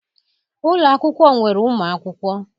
Ụlọ akwụkwọ nwere ụmụ akwụkwọ.